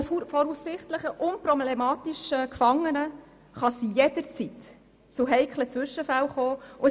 Auch bei einem voraussichtlich unproblematischen Gefangenen kann es jederzeit zu heiklen Zwischenfällen kommen.